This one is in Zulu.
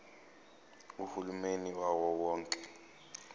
uhulumeni wawo wonke